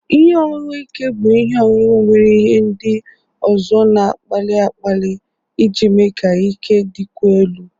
Ihe ọṅụṅụ ike bụ ihe ọṅụṅụ nwere ihe ndị ọzọ na-akpali akpali iji mee ka ike dịkwuo elu.